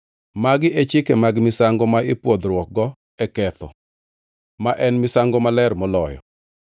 Magi e chike mag misango ma ipwodhruokgo e ketho, ma en misango maler moloyo: